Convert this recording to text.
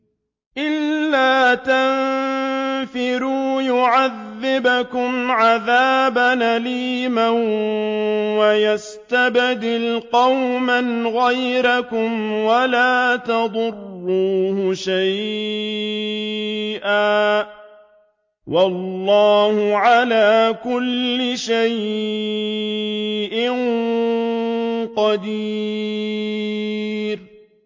إِلَّا تَنفِرُوا يُعَذِّبْكُمْ عَذَابًا أَلِيمًا وَيَسْتَبْدِلْ قَوْمًا غَيْرَكُمْ وَلَا تَضُرُّوهُ شَيْئًا ۗ وَاللَّهُ عَلَىٰ كُلِّ شَيْءٍ قَدِيرٌ